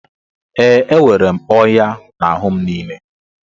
e, enwere m ọnya n'ahụ m niile